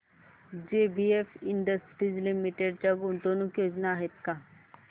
JBF industries limited च्या गुंतवणूक योजना आहेत का